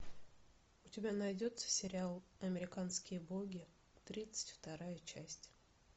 у тебя найдется сериал американские боги тридцать вторая часть